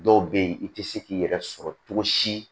Dɔw bɛ yen i tɛ se k'i yɛrɛ sɔrɔ cogo si